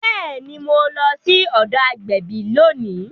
Bẹẹni, Mo lọ sí ọdọ agbẹbi lóni